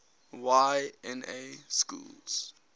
y na schools